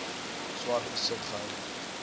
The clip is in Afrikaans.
swart besit gehou